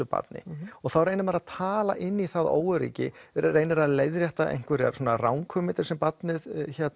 barni þá reynir maður að tala inn í það óöryggi reynir að leiðrétta einhverjar ranghugmyndir sem barnið